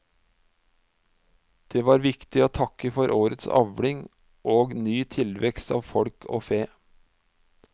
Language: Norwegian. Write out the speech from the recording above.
Det var viktig å takke for årets avling og ny tilvekst av folk og fe.